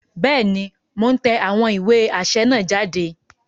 Bẹẹni, Mo n tẹ awọn iwe aṣẹ naa jáde